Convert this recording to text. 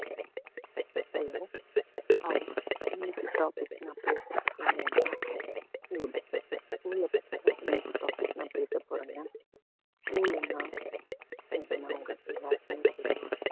hi இன்னைக்கு topic நான் பேசப்போறது என்னனா school school ல பத்திதா இன்னைக்கி topic நான் பேசப்போறேங்க school ன்னா உங்க எல்லாருக்குமே தெரியும்